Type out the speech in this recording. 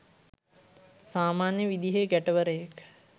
සාමන්‍ය විදිහේ ගැටවරයෙක්.